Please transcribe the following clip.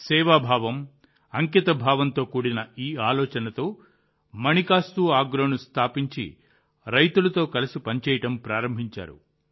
సేవాభావం అంకితభావంతో కూడిన ఈ ఆలోచనతో మాణికాస్తు ఆగ్రోను స్థాపించి రైతులతో కలిసి పనిచేయడం ప్రారంభించారు